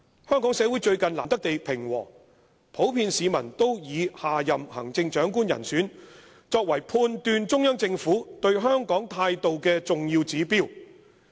"香港社會最近難得地平和，普遍市民都以下任行政長官人選，作為判斷中央政府對香港態度的重要指標。